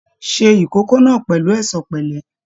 Ṣe ìkókó náà pẹ̀lú ẹ̀ṣọ̀ pẹ̀lẹ́!